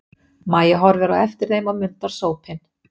Mæja horfir á eftir þeim og mundar sópinn.